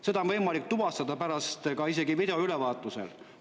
Seda on võimalik tuvastada pärast isegi video ülevaatusel.